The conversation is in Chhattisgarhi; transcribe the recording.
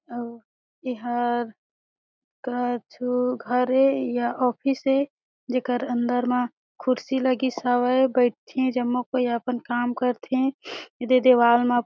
अउ इहर कछु घर ए या ऑफिस ए जेकर अंदर मा खुर्सी लगिस हावे बइठे जम्मो कोई अपन काम करथे एदे दीवाल में ।